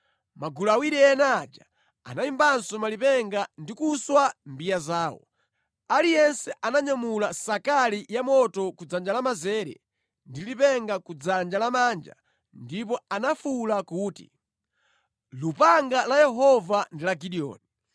Magulu awiri ena aja anayimbanso malipenga ndi kuswa mbiya zawo. Aliyense ananyamula nsakali ya moto ku dzanja lamanzere ndi lipenga ku dzanja lamanja ndipo anafuwula kuti, “Lupanga la Yehova ndi la Gideoni.”